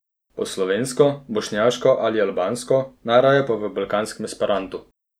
Po slovensko, bošnjaško ali albansko, najraje pa v balkanskem esperantu.